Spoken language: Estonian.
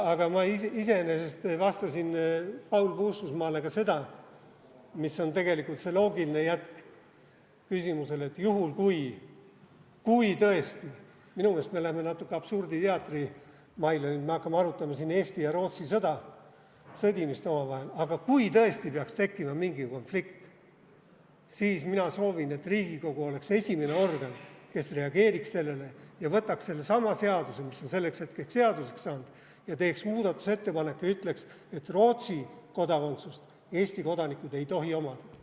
Aga ma iseenesest vastasin Paul Puustusmaale ka seda, mis on tegelikult loogiline jätk küsimusele, et juhul kui tõesti – minu meelest me läheme natuke absurditeatri maile nüüd, et me hakkame arutama siin Eesti ja Rootsi sõda, sõdimist omavahel –, aga kui tõesti peaks tekkima mingi konflikt, siis mina soovin, et Riigikogu oleks esimene organ, mis reageeriks sellele, võtaks sellesama seaduse, mis on selleks hetkeks seaduseks saanud, ja teeks muudatusettepaneku ja ütleks, et Rootsi kodakondsust ei tohi Eesti kodanikud omada.